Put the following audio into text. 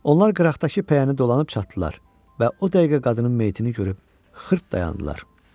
Onlar qıraqdakı pəyəni dolanıb çatdılar və o dəqiqə qadının meyitini görüb xırt dayandılar.